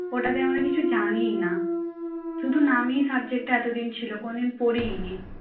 ওটাতে এমন কিছু জানিনা শুধু নামেই subject টা এতদিন ছিল কোনদিন পড়িই নি